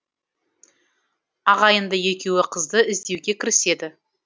ағайынды екеуі қызды іздеуге кіріседі